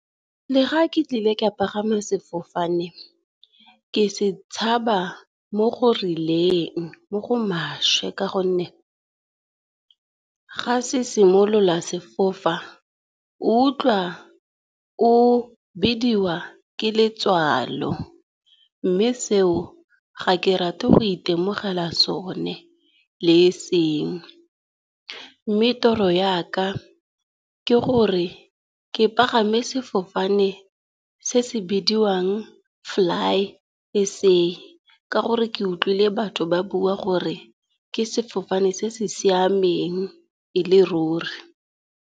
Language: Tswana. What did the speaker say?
Le ga ke tlile ka pagama sefofane, ke se tshaba mo go rileng, mo go maswe, ka gonne ga se simolola sefofa ga utlwa o bidiwa ke letswalo. Mme seo ga ke rate go itemogela sone le e seng, mme toro yaka ke gore ke pagama sefofane se se bidiwang Flysa ka gore ke utlwile batho ba bua gore ke sefofane se se siameng e le ruri.